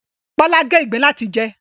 Bọ́lá gé ìgbín láti jẹ